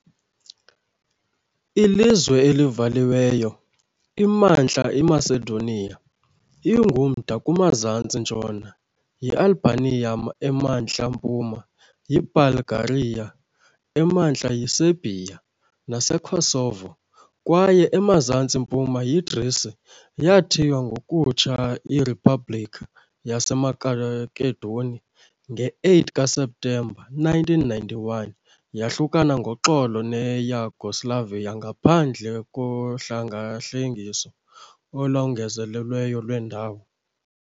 Ilizwe elivaliweyo, iMantla eMacedonia ingumda kumazantsi-ntshona yiAlbania, emantla mpuma yiBulgaria, emantla yiSerbia naseKosovo, kwaye emazantsi mpuma yiGrisi. Yathiywa ngokutsha iRiphabhlikhi yaseMakedoni nge-8 kaSeptemba 1991, yahlukana ngoxolo neYugoslavia ngaphandle kohlengahlengiso olongezelelweyo lwendawo.